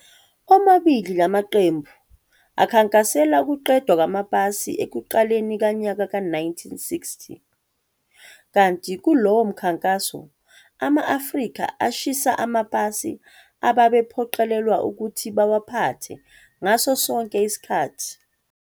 Omabili la maqembu akhankasela ukuqedwa kwamapasi ekuqaleni kanyaka ka-1960, kanti kulowo mkhankaso, ama-Afrika ashisa amapasi ababephoqelelwa ukuthi bawaphathe ngaso sonke isikhathi.